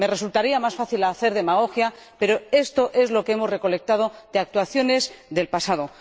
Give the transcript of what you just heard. Me resultaría más fácil hacer demagogia, pero esto es lo que hemos recolectado de actuaciones del pasado.